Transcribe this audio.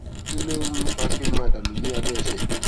kí ló ń ń fa kí omi máa dà nù ní abẹ ẹsè